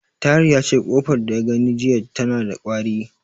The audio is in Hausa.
Tahir yace, ƙofar da ya gani jiya tana da ƙwari.